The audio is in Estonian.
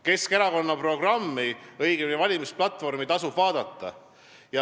Keskerakonna programmi, õigemini valimisplatvormi, tasub vaadata.